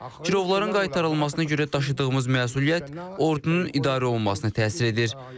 Girovların qaytarılmasına görə daşıdığımız məsuliyyət ordunun idarə olunmasına təsir edir.